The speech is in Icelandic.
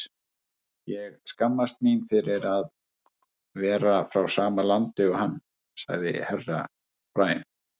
Ég skammast mín fyrir að vera frá sama landi og hann, sagði Herra Brian.